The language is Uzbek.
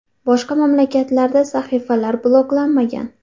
Boshqa mamlakatlarda sahifalar bloklanmagan.